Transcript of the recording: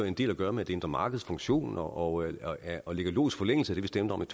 en del at gøre med det indre markeds funktion og og ligger i logisk forlængelse af det vi stemte om